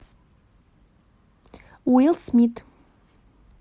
уилл смит